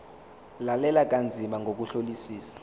lalela kanzima ngokuhlolisisa